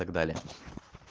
и так далее